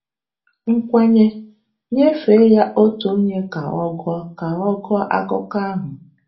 Nkwanye: Nyefee ya otu onye ka ọ gụọ ka ọ gụọ akụkọ ahụ.